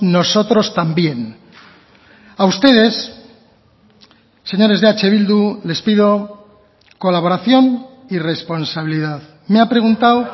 nosotros también a ustedes señores de eh bildu les pido colaboración y responsabilidad me ha preguntado